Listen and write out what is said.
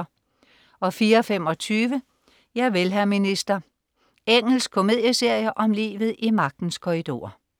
04.25 Javel, hr. minister. Engelsk komedieserie om livet i magtens korridorer